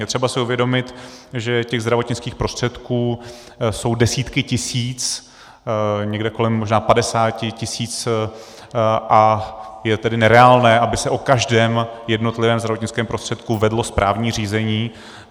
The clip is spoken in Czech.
Je třeba si uvědomit, že těch zdravotnických prostředků jsou desítky tisíc, někde kolem možná padesáti tisíc, a je tedy nereálné, aby se o každém jednotlivém zdravotnickém prostředku vedlo správní řízení.